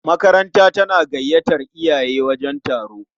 Makaranta tana gayyatar iyaye wajen taro.